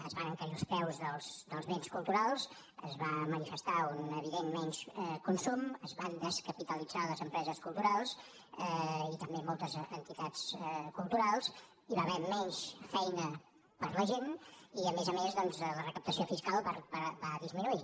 es van encarir els preus dels béns culturals es va manifestar un evident menor consum es van descapitalitzar les empreses culturals i també moltes entitats culturals hi va haver menys feina per a la gent i a més a més doncs la recaptació fiscal va disminuir